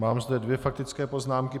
Mám zde dvě faktické poznámky.